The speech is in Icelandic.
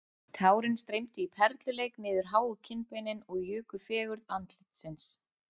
Tárin streymdu í perluleik niður háu kinnbeinin og juku fegurð andlitsins